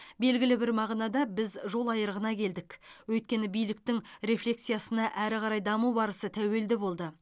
белгілі бір мағынада біз жол айырығына келдік өйткені биліктің рефлексиясына әрі қарай даму барысы тәуелді болды